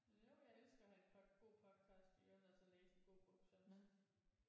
Jo jeg elsker at have et pod god podcast i ørerne og så læse en god bog samtidig